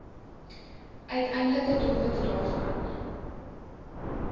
uiteindelike doelwitte daarvan